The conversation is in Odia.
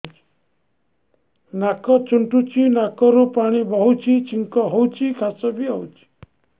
ନାକ ଚୁଣ୍ଟୁଚି ନାକରୁ ପାଣି ବହୁଛି ଛିଙ୍କ ହଉଚି ଖାସ ବି ହଉଚି